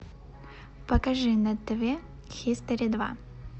покажи на тв хистори два